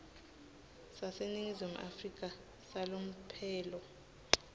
saseningizimu afrika salomphelo